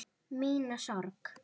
Mína sorg.